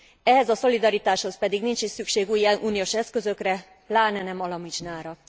Ehhez a szolidaritáshoz pedig nincs is szükség új uniós eszközökre, pláne nem alamizsnára.